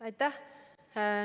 Aitäh!